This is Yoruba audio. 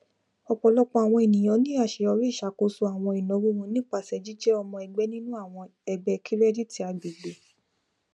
ọpọlọpọ àwọn ènìyàn ní àṣeyọrí iṣakoso àwọn ináwó wọn nípasẹ jíjẹ ọmọ ẹgbẹ nínú àwọn ẹgbẹ kirẹditi agbègbè